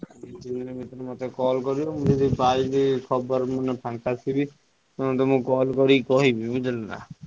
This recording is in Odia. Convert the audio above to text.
ଦି ତିନ ଦିନ ଭିତରେ ମତେ call କରିବ ମୁଁ ଯଦି ପାଇଲି ଖବର ମୁ ଯଦି ଫାଙ୍କା ଥିବି ନହେଲେ ମୁଁ ତମକୁ call କରି କହିବି ବୁଝିଲ ନା।